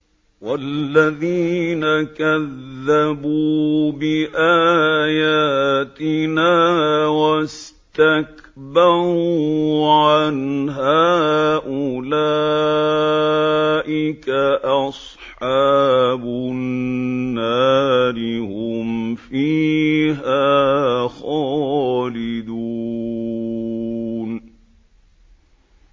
وَالَّذِينَ كَذَّبُوا بِآيَاتِنَا وَاسْتَكْبَرُوا عَنْهَا أُولَٰئِكَ أَصْحَابُ النَّارِ ۖ هُمْ فِيهَا خَالِدُونَ